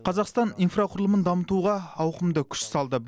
қазақстан инфрақұрылымын дамытуға ауқымды күш салды